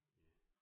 Ja